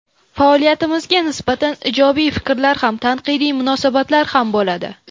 Faoliyatimizga nisbatan ijobiy fikrlar ham, tanqidiy munosabatlar ham bo‘ladi.